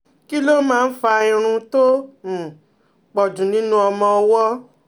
Kí ló máa ń fa irun tó um pọ̀ jù nínú ọmọ ọwọ́?